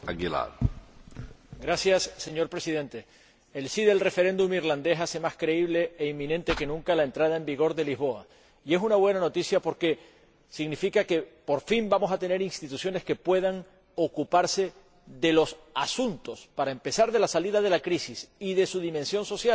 Señor Presidente, el sí del referéndum irlandés hace más creíble e inminente que nunca la entrada en vigor del Tratado de Lisboa, y es una buena noticia porque significa que, por fin, vamos a tener instituciones que puedan ocuparse de los asuntos para empezar, de la salida de la crisis y de su dimensión social, la generación de empleo.